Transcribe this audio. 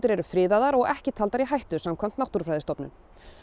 eru friðuð og ekki talin í hættu samkvæmt Náttúrufræðistofnun